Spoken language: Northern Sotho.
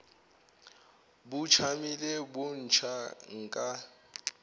bo tšamile bo ntšha nka